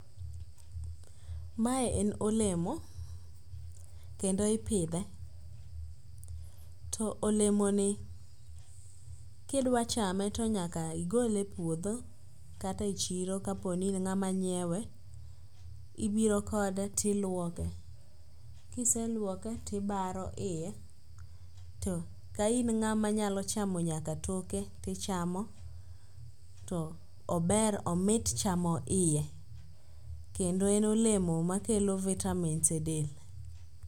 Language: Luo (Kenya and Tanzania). Mae en olemo kendo ipidhe to olemoni kidwachame to nyaka igole e puodho kata e chiro kaponi in ng'ama nyiewe. Ibiro kode tilwoke, kiselwoke tibaro iye to ka in ng'ama nyalo chamo nyaka toke tichamo to ober omit chamo iye kendo en olemo makelo vitamins e del.